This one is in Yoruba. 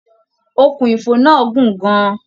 Òkun ifo náà gun gán an.